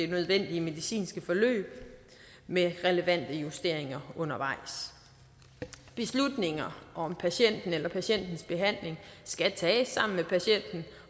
det nødvendige medicinske forløb med relevante justeringer undervejs beslutninger om patienten eller patientens behandling skal tages sammen med patienten